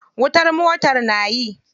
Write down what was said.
Wutar motar na yi.